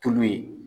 Tulu ye